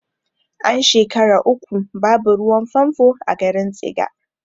An shekara uku babu ruwan fanfo a garin tsiga